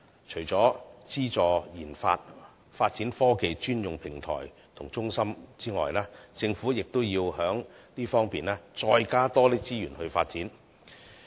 除了資助研發、發展科技專用平台和中心外，政府亦要在這方面再多加資源發展。